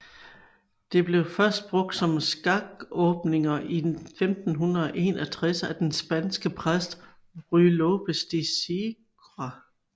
Det blev først brugt om skakåbninger i 1561 af den spanske præst Ruy López de Segura